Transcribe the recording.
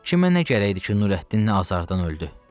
Kimə nə gərəkdir ki, Nurəddin nə azardan öldü?